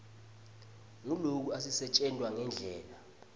nguloku asisetjentwa ngendlela